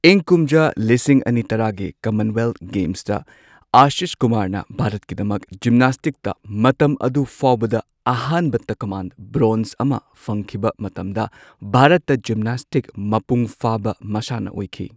ꯏꯪ ꯀꯨꯝꯖꯥ ꯂꯤꯁꯤꯡ ꯑꯅꯤ ꯇꯔꯥꯒꯤ ꯀꯃꯟꯋꯦꯜꯊ ꯒꯦꯝꯁꯇ, ꯑꯥꯁꯤꯁ ꯀꯨꯃꯥꯔꯅ ꯚꯥꯔꯠꯀꯤꯗꯃꯛ ꯖꯤꯝꯅꯥꯁꯇꯤꯛꯇ ꯃꯇꯝ ꯑꯗꯨ ꯐꯥꯎꯕꯗ ꯑꯍꯥꯟꯕ ꯇꯀꯃꯥꯟ, ꯕ꯭ꯔꯣꯟꯖ ꯑꯃꯥ ꯐꯪꯈꯤꯕ ꯃꯇꯝꯗ, ꯚꯥꯔꯠꯇ ꯖꯤꯝꯅꯥꯁꯇꯤꯛ ꯃꯄꯨꯡ ꯐꯥꯕ ꯃꯁꯥꯟꯅ ꯑꯣꯢꯈꯤ꯫